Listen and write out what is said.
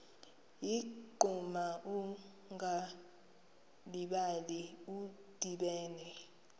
ligquma ungalibali udibene